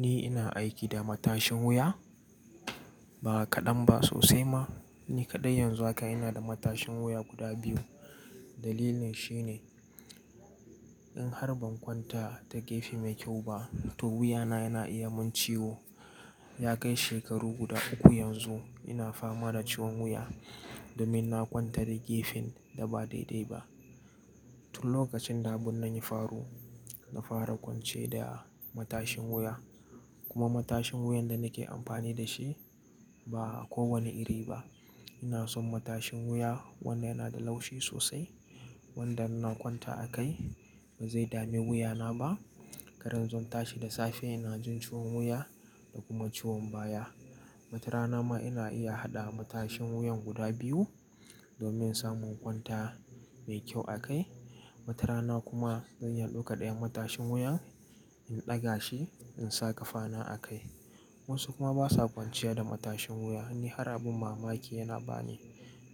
Ni ina aiki da matashin wuya. Ba kaɗan ba, sosai ma. Ni kaɗai yanzu haka ina da matashin wuya guda biyu. Dalilin shi ne in har ban kwanta ta gefe mai kyau ba, to wuyana yana iya min ciwo. Ya kai shekaru guda uku yanzu ina fama da ciwon wuya domin na kwanta da gefen da ba daidai ba. Tun lokacin da abin na yi faru, na fara kwance da matashin wuya. Kuma matashin wuyan da nake amfani da shi ba kowane iri ba. Ina son matashin wuya wanda yana da laushi sosai, wanda ina kwanta a kai ba zai dame wuyana ba. Karan zan tashi da safe yana jin ciwon wuya da kuma ciwon baya. Wata rana ma ina iya haɗa matashin wuyan guda biyu domin samun kwanta mai kyau a kai. Wata rana kuma zan iya ɗoka ɗayan matashin wuyan, in ɗaga shi in sa ƙafana a kai. Wasu kuma ba sa kwanciya da matashin wuya. Ni har abin mamaki yana ba ni.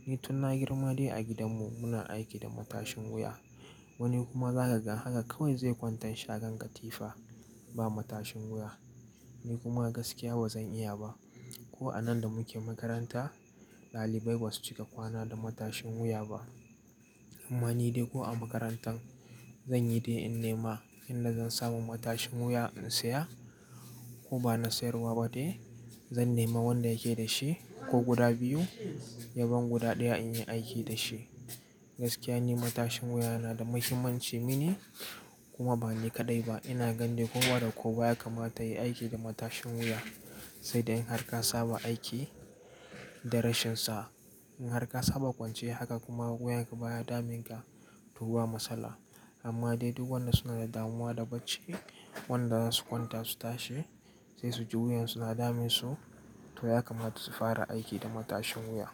Ni tun na girma dai a gidanmu muna aiki da matashin wuya. Wani kuma za ka gan haka kawai zai kwantan shagon katifa ba matashin wuya. Ni kuma gaskiya ba zan iya ba. Ko a nan da muke makaranta, ɗalibai ba su cika kwana da matashin wuya ba. Amma ni dai ko a makarantan zanyi dai in nema inda zan samu matashin wuya in saya ko ba na sayarwa ba dai. Zan nema wanda yake da shi ko guda biyu, yaban guda ɗaya in yi aiki da shi. Gaskiya ni matashin wuya yana da muhimmanci mini kuma ba ni kaɗai ba. Ina gani ko wa da ko baya kama yayi aiki da matashin wuya, sai dai in har ka saba aiki da rashinsa. In har ka saba kwance haka kuma wuyanka baya damunka to ba matsala amma dai duk wannan suna da damuwa da bacci. Wanda zasu kwanta su tashi sai su ji wuyansu na dame su, to ya kamata su fara aiki da matashin wuya.